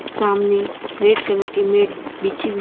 सामने red colour की mat बिछी हुई--